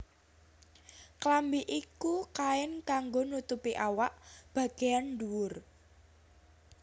Klambi iku kain kanggo nutupi awak bagéyan ndhuwur